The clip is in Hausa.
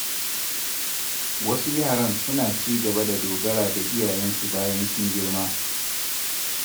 Wasu yaran suna ci gaba da dogara da iyayensu bayan sun girma.